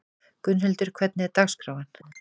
Gunnhildur, hvernig er dagskráin?